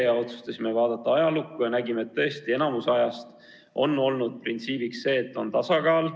Me otsustasime vaadata ajalukku ja nägime tõesti, enamasti on printsiibiks olnud tasakaal.